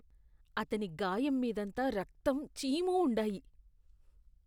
అతని గాయం మీదంతా రక్తం, చీము ఉండాయి.